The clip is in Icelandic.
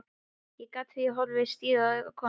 Ég játti því, horfði stíft í augu konunnar.